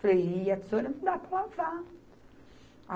Falei, e a tesoura não dá para lavar.